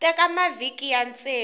teka mavhiki ya ntsevu ku